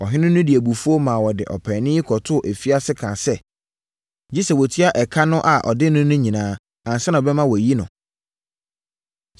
Ɔhene no de abufuo maa wɔde ɔpaani yi kɔtoo afiase kaa sɛ, gye sɛ watua ɛka a ɔde no no nyinaa ansa na ɔbɛma wɔayi no.